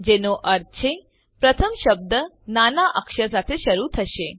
જેનો અર્થ છે પ્રથમ શબ્દ નાના અક્ષર સાથે શરૂ થશે